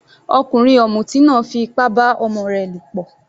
Ọkùnrin ọ̀mùtí náà fí ipá bá ọmọ rẹ lọ̀pọ̀.